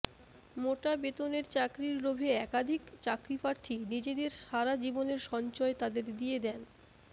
মোটা বেতনের চাকরির লোভে একাধিক চাকরিপ্রার্থী নিজেদের সারা জীবনের সঞ্চয় তাদের দিয়ে দেন